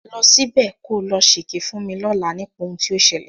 Lọ ṣíbẹ̀ ko lọ ṣèké fún mi lọ́làá nípa ohun tó ṣẹlẹ̀.